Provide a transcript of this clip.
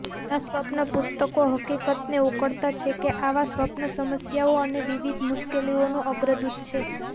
ઘણા સ્વપ્ન પુસ્તકો હકીકતને ઉકળતા છે કે આવા સ્વપ્ન સમસ્યાઓ અને વિવિધ મુશ્કેલીઓનું અગ્રદૂત છે